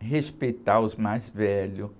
respeitar os mais velhos.